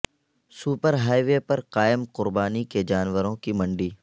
super highway پر قائم قربای کے جانوروں کی منڈی